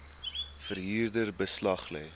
verhuurder beslag lê